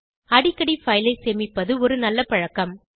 அடிக்கடி பைல் ஐ சேமிப்பது ஒரு நல்ல பழக்கம்